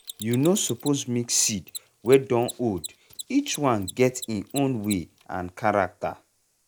you no suppose mix seed wey dun old each one get e own way and character.